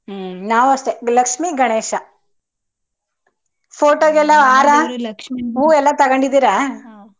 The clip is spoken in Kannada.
ಹ್ಮ್ ನಾವು ಅಷ್ಟೇ ಲಕ್ಷ್ಮಿಗಣೇಶ photo ಗೆಲ್ಲ ಹಾರ ಹೂವು ತಗೊಂಡಿದಿರ .